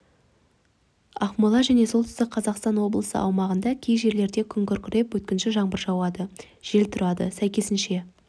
ақмола және солтүстік қазақстан облысының аумағында кей жерлерде күн күркіреп өткінші жаңбыр жауады жел тұрады сәйкесінше